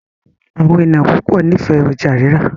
Àwọn ènìyàn púpọ n'ifẹ ọjà rírà.